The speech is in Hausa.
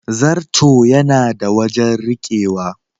Zarto yana da wajen rikewa.